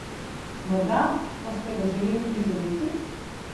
Morda pa ste ga želeli prizadeti?